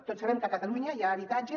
tots sabem que a catalunya hi ha habitatges